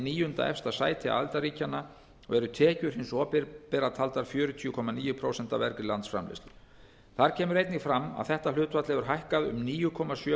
níunda efsta sæti aðildarríkjanna og eru tekjur hins opinbera taldar fjörutíu komma níu prósent af vergri landsframleiðslu þar kemur einnig fram að þetta hlutfall hefur hækkað um níu komma sjö